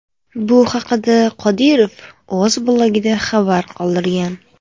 Bu haqda Qodirov o‘z blogida xabar qoldirgan .